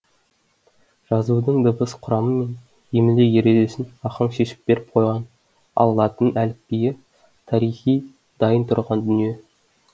жазудың дыбыс құрамы мен емле ережесін ахаң шешіп беріп қойған ал латын әліпбиі тарихи дайын тұрған дүние